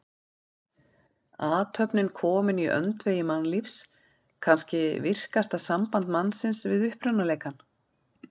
Athöfnin komin í öndvegi mannlífs, kannski virkasta samband mannsins við upprunaleikann.